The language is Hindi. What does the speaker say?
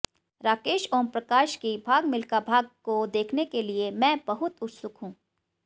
राकेश ओमप्रकाश की भाग मिल्खा भाग को देखने के लिए मैं बहुत उत्सुक हूं